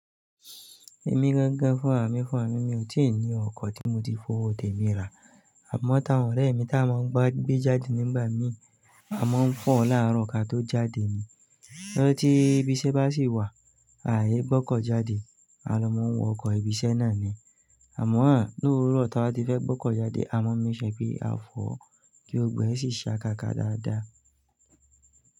Èmi gangan fún ràmì fún ràmì mi ò tí ì ní ọkọ̀ tí mo ti f'owó tè mí rà. Àmọ́ t'áwọn ọ̀rẹ́ mi tá máa ń gbé jáde nígbà mí, a máa ń fọ̀ láàárọ̀ ka tó jáde ni. Ọjọ́ tí ibi iṣẹ́ bá sì wà, àá yé gbọ́kọ̀ jáde, a ló máa ń wọ ọkọ̀ ibi iṣẹ́ náà ni. Àmọ́ àn, l'ówúrọ̀ tá bá ti fẹ́ gbọ́kọ̀ jáde, a máa ń mí ṣẹ̀ pé a fọ̀ ọ́ kí gbo gbo ẹ̀ sì ṣa káka dáadáa.